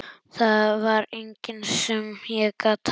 Það var enginn sem ég gat talað við.